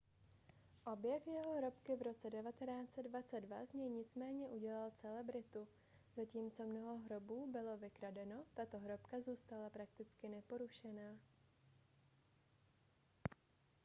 objev jeho hrobky v roce 1922 z něj nicméně udělal celebritu zatímco mnoho hrobů bylo vykradeno tato hrobka zůstala prakticky neporušená